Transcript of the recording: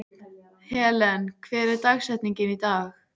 Helen, hver er dagsetningin í dag?